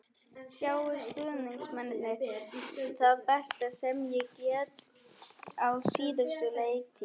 Sáu stuðningsmennirnir það besta sem ég get á síðustu leiktíð?